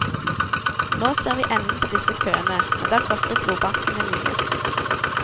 Nå ser vi enden på disse køene, men det har kostet blodbankene mye.